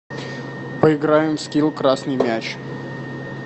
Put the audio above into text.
поиграем в скилл красный мяч